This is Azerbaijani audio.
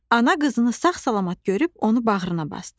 Ana qızını sağ-salamat görüb onu bağrına basdı.